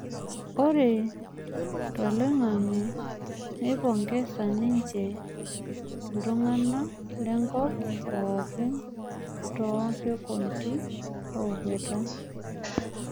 Ore toiloing'ange neipongesa ninje nlntung'ana lenkop pookin too sekundeni ookweta.